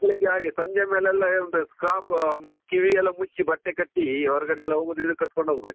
ಮಕ್ಳಿಗೆ ಹಾಗೆ ಸಂಜೆ ಮೇಲೆಲ್ಲ ಎಂತ scraf ಕಿವಿ ಎಲ್ಲ ಮುಚ್ಚಿ ಬಟ್ಟೆ ಕಟ್ಟಿ ಹೊರಗಡೆ ಹೋಗುದಿದ್ರೆ ಕಟ್ಕೊಂಡು ಹೋಗ್ಬೇಕು.